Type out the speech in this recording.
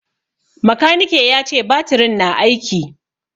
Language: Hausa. Makanike ya ce batirin na aiki.